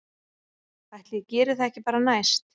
Ætli ég geri það ekki bara næst